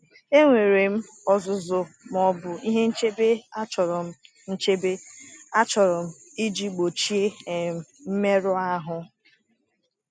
Enwere m ọzụzụ ma ọ bụ ihe nchebe achọrọ nchebe achọrọ iji gbochie um mmerụ ahụ?